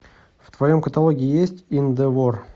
в твоем каталоге есть индевор